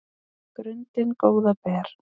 grundin góða ber